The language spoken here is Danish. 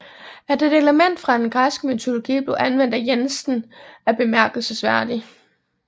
At et element fra den græske mytologi bliver anvendt af Jensen er bemærkelsesværdig